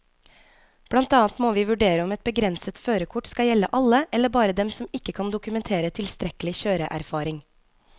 Blant annet må vi vurdere om et begrenset førerkort skal gjelde alle eller bare dem som ikke kan dokumentere tilstrekkelig kjøreerfaring.